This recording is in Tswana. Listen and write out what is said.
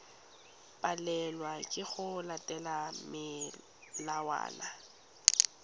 palelwa ke go latela melawana